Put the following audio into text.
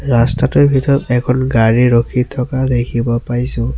ৰাস্তাটোৰ ভিতৰত এখন গাড়ী ৰখি থকা দেখিব পাইছোঁ।